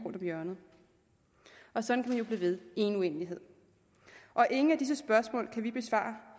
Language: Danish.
om hjørnet og sådan kan man blive ved i en uendelighed og ingen af disse spørgsmål kan vi besvare